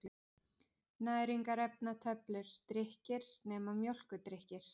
Næringarefnatöflur: Drykkir, nema mjólkurdrykkir.